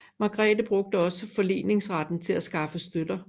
Margrete brugte også forleningsretten til at skaffe støtter